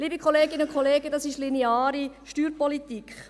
Liebe Kolleginnen und Kollegen, das ist lineare Steuerpolitik.